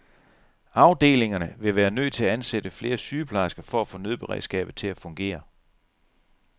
Afdelingerne ville være nødt til at ansætte flere sygeplejersker for at få nødberedskabet til at fungere.